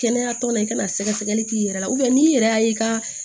Kɛnɛya tɔn na i kana sɛgɛsɛgɛli k'i yɛrɛ la n'i yɛrɛ y'a ye i ka